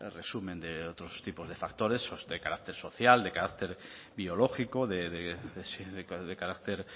resumen de otros tipos de factores esos de carácter social de carácter biológico de carácter